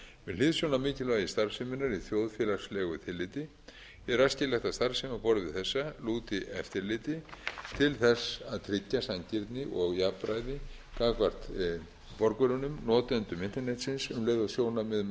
hliðsjón af mikilvægi starfseminnar í þjóðfélagslegu tilliti er æskilegt að starfsemi á borð við þessa lúti eftirliti til að tryggja sanngirni og jafnræði gagnvart borgurunum notendum internetsins um leið og sjónarmið um